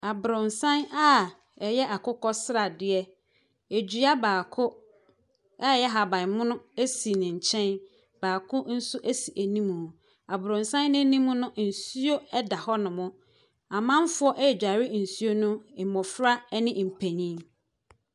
Abronsan a ɛyɛ akokɔsradeɛ. Dua baako a ɛyɛ ahabanmono si ne nkyɛn. Baako nso si anim. Abrosan anim no nsuo da hɔnom. Amanfoɔ reguare nsuo no. Mmofra ne mpanin.